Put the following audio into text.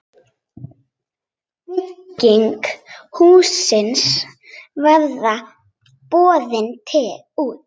Bygging hússins verður boðin út.